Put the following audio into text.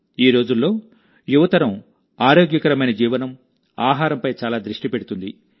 ఈ రోజుల్లోయువతరం ఆరోగ్యకరమైన జీవనం ఆహారంపై చాలా దృష్టి పెడుతుంది